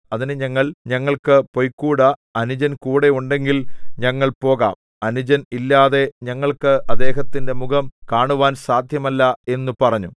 അതിന് ഞങ്ങൾ ഞങ്ങൾക്കു പൊയ്ക്കൂടാ അനുജൻ കൂടെ ഉണ്ടെങ്കിൽ ഞങ്ങൾ പോകാം അനുജൻ ഇല്ലാതെ ഞങ്ങൾക്ക് അദ്ദേഹത്തിന്റെ മുഖം കാണുവാൻ സാദ്ധ്യമല്ല എന്നു പറഞ്ഞു